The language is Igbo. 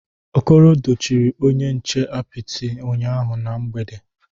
Okoro dochiri onye nche apịtị ụnyahụ na mgbede